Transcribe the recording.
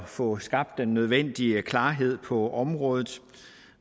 få skabt den nødvendige klarhed på området